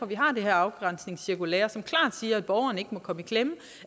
vi har det her afgrænsningscirkulære som klart siger at borgeren ikke må komme i klemme og